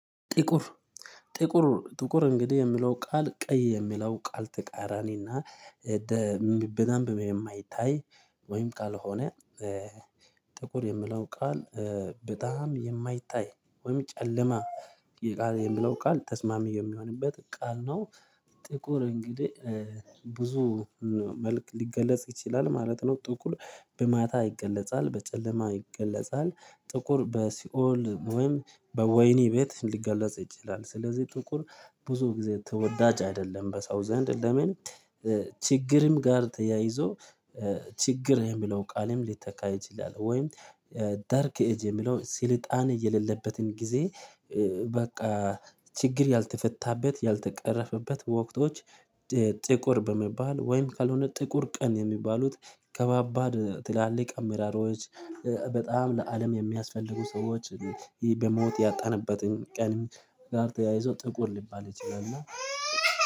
ጥቁር ጥቁር ጥቁር እንግዲህ የሚለው ቃል ቀይ የሚለው ቃል ተቃራኒና በደንብ የማይታይ ወይም ካልሆነ ጥቁር የምለው ቃል በጣም የማይታይ ወይም ጨለማ የምለው ቃል ተስማሚ የሚሆንበት ቃል ነው። ጥቁር እንግዲህ ብዙ መልክ ሊገለጽ ይችላል ማለት ነው። ጥቁር በማታ ይገለጻል በጨለማ ይገለጻል ጥቁር በሲኦል ወይም በወይኒ ቤት ሊገለጽ ይችላል። ስለዚህ ጥቁር ብዙ ጊዜ ተወዳጅ አይደለም በሰው ዘንድ ለምን? ችግርም ጋር ተያይዞ ችግር የሚለው ቃልም ሊተካ ይችላል። ወይም ዳርክ ኤጅ የሚለው ስልጣኔ የሌለበትን ጊዜ በቃ ችግር ያልተፈታበት ያልተቀረፈበት ወቅቶች። ጥቁር በመባል ወይም ካልሆነ ጥቁር ቀን የሚባሉት ከባባድ ትላልቅ አሜራሮች። በጣም ለአለም የሚያስፈልጉ ሰዎች በሞት ያጣንበትን ቀን ጋር ተያይዞ ጥቁር ልባል ይችላል። እና